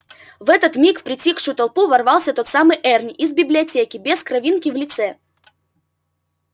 в этот миг в притихшую толпу ворвался тот самый эрни из библиотеки без кровинки в лице